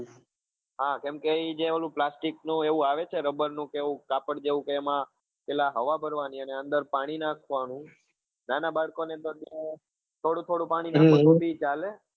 હા કેમ કે ઈ જે ઓલું plactic નું એવું આવે છે રબર નું કે એવું કાપડ જેવું કે એમાં પેલા હવા ભરવાની અને અંદર પાણી નાખવાનું નાના બાળકો ને અંદર થોડું થોડું પાણી નાખવાથી ચાલે